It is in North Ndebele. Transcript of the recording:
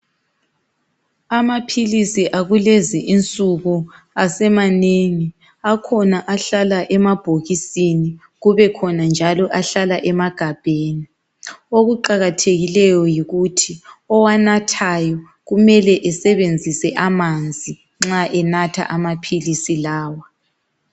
Amaphilisi akulezi insuku asemanengi akhona ahlala emabhokisini kube khona njalo ahlala emagabheni. Okuqakathekileyo yikuthi owanathayo kumele esebenzise amanzi nxa enatha amaphilisi lawa.